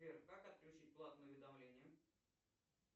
сбер как отключить платные уведомления